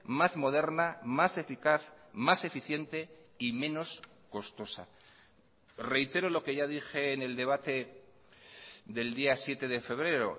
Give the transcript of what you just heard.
más moderna más eficaz más eficiente y menos costosa reitero lo que ya dije en el debate del día siete de febrero